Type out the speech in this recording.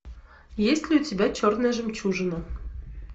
есть ли у тебя черная жемчужина